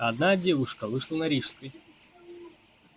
одна девушка вышла на рижской